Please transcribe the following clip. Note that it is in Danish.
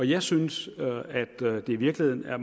jeg synes i virkeligheden at